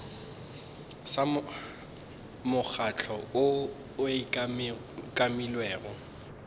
sa mokgatlo woo o umakilwego